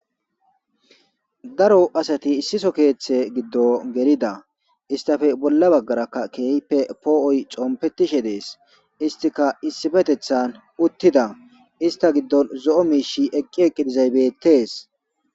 daro asati issiso keeththe giddo gelida istafe bolla baggarakka keeype poo7oy competishe dees istika issifetethan uttida ista giddon zo7o miishi eqqi eqqidizaybettees